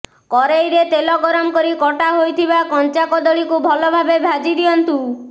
କରେଇରେ ତେଲ ଗରମ କରି କଟା ହୋଇଥିବା କଞ୍ଚା କଦଳୀକୁ ଭଲଭାବେ ଭାଜି ଦିଅନ୍ତୁ